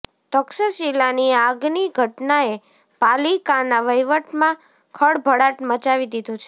તક્ષશિલાની આગની ઘટનાએ પાલિકાના વહીવટમાં ખળભળાટ મચાવી દીધો છે